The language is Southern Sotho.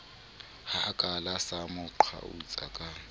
hakala sa mo qhautsa ka